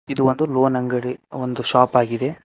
ಇದು ಒಂದು ಲೋನ್ ಅಂಗಡಿ ಒಂದು ಶಾಪ್ ಆಗಿದೆ.